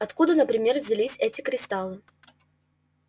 откуда например взялись эти кристаллы